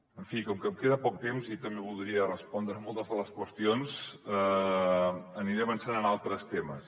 en fi com que em queda poc temps i també voldria respondre a moltes de les qüestions aniré avançant en altres temes